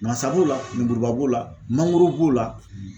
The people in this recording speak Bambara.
Nmasa b'o la ,lemuruba b'o la ,mangoro b'o la.